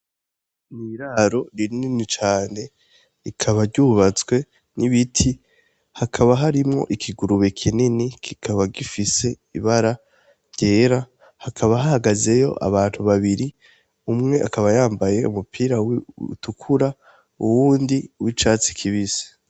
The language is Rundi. Ni iraro rinini cane rikaba ryubatswe n'ibiti, hakaba harimwo ikigurube kinini, kikaba gifise ibara ryera, hakaba hahagazeyo abantu babiri, umwe akaba yambaye umupira utukura uwundi uw'icatsi kibisi.